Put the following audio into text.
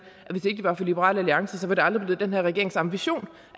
var for liberal alliance var det aldrig blevet den her regerings ambition